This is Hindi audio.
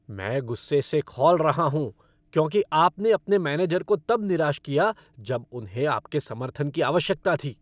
मैं गुस्से से खौल रहा हूँ क्योंकि आपने अपने मैनेजर को तब निराश किया जब उन्हें आपके समर्थन की आवश्यकता थी।